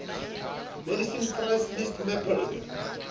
medicine price list mpl le